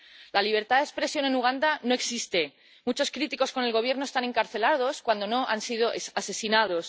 La libertad de expresión en Uganda no existe muchos críticos con el Gobierno están encarcelados, cuando no han sido asesinados.